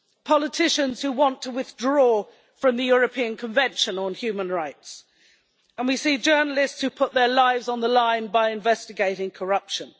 Politicians who want to withdraw from the European Convention on Human Rights and we see journalists who put their lives on the line by investigating corruption.